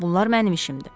Bunlar mənim işimdir.